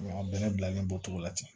A bɛnɛ bilalen b'o cogo la ten